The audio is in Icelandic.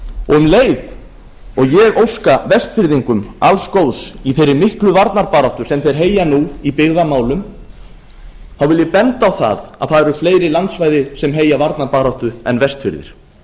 um leið og ég óska vestfirðingum alls góðs í þeirri miklu varnarbaráttu sem þeir heyja nú í byggðamálum vil ég benda á að fleiri landsvæði heyja varnarbaráttu en vestfirðir